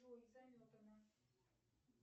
джой заметано